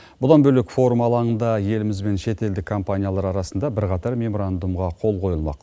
бұдан бөлек форум алаңында еліміз бен шетелдік компаниялар арасында бірқатар меморандумға қол қойылмақ